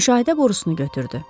Müşahidə borusunu götürdü.